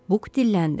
Buk dilləndi.